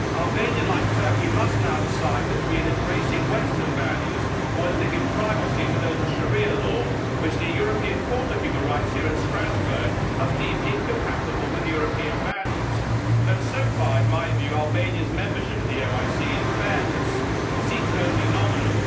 Albania, like Turkey, must now decide between embracing western values, or whether to give primacy to those of sharia law which the European Court of Human Rights here in Strasbourg has deemed incompatible with European values, though so far, in my view, Albania's membership of the OIC, in fairness, seems only nominal.